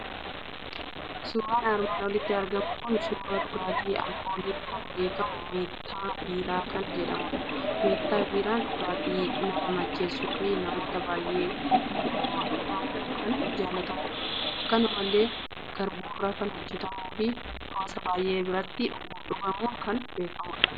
Suuraan armaan olitti argamu kun, suura dhugaaati alkooliin kan beekamu meettaa biiraa kan jedhamudha. Meettaa biiraan dhugaati nama macheessuufi namoota baay'een dhugamu kan jaallatamudha; akkanumallee garburraa kan hojjetamuufi hawaasa baay'ee biratti dhugamuun kan beekamadha.